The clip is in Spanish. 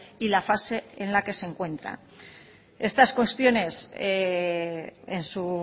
y la fase en la que se encuentran estas cuestiones en su